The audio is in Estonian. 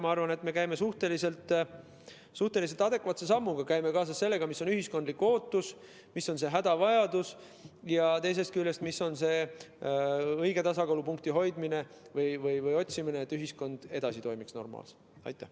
Ma arvan, et me käime suhteliselt adekvaatse sammuga, me käime kaasas sellega, mis on ühiskondlik ootus, mis on hädavajadus, ja teisest küljest sellega, mis on õige tasakaalupunkti otsimine või hoidmine, et ühiskond normaalselt edasi toimiks.